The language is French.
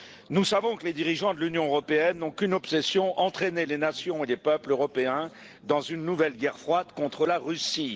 Nous savons que les dirigeants de l'Union européenne n'ont qu'une obsession entraîner les nations et les peuples européens dans une nouvelle guerre froide contre la Russie.